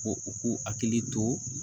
Ko u k'u hakili to